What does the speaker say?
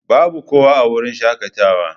Babu kowa a wurin shakatawa.